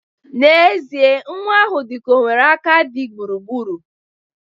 N'ezie nwa ahụ dịka o nwere aka di gburugburu.